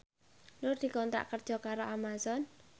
Nur dikontrak kerja karo Amazon